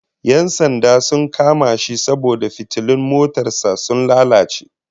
Yan sanda sun kama shi saboda fitilun motar sa sun lalace